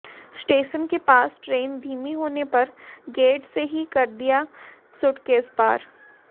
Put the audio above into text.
station के पास train धीमी होने पर गेट से ही कर दिया सूटकेस पार